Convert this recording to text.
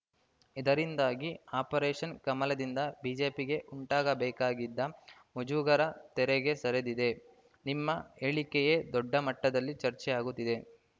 ಇದರಿಂದಾಗಿ ಆಪರೇಷನ್‌ ಕಮಲದಿಂದ ಬಿಜೆಪಿಗೆ ಉಂಟಾಗಬೇಕಾಗಿದ್ದ ಮುಜುಗರ ತೆರೆಗೆ ಸರಿದಿದೆ ನಿಮ್ಮ ಹೇಳಿಕೆಯೇ ದೊಡ್ಡ ಮಟ್ಟದಲ್ಲಿ ಚರ್ಚೆ ಆಗುತ್ತಿದೆ